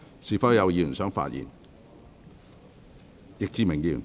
是否有議員想發言？